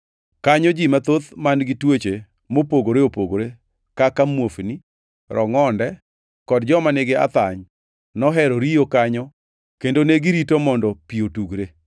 Kanyo ji mathoth man-gi tuoche mopogore opogore kaka muofni, rongʼonde, kod joma nigi athany nohero riyo kanyo [kendo negirito mondo pi otugre.